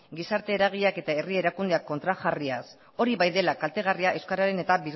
gizarte eragileak eta herri erakundeak kontrajarriaz hori bai dela kaltegarria euskararen eta